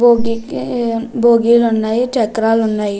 భోగి ఉన్నాయి. చక్రాలు ఉన్నాయి.